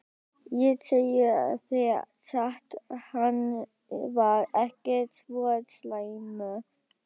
Ég segi þér satt- hann var ekki svo slæmur.